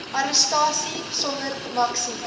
arrestasie sonder maksimum